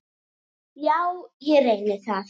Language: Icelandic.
Já, ég reyni það.